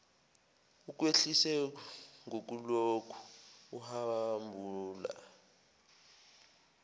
ukwehlise ngokulokhu uhabula